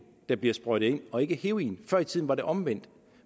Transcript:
der bliver sprøjtet ind og ikke heroin før i tiden var det omvendt